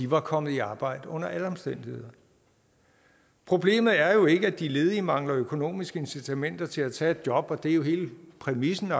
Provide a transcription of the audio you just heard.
var kommet i arbejde under alle omstændigheder problemet er jo ikke at de ledige mangler økonomiske incitamenter til at tage et job og det er hele præmissen